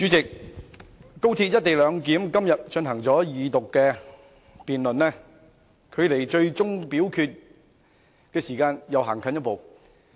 代理主席，廣深港高速鐵路香港段"一地兩檢"今天進行二讀辯論，距離最終表決的時間又走近一步。